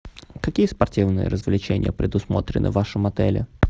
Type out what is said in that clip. какие спортивные развлечения предусмотрены в вашем отеле